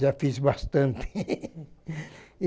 Já fiz bastante.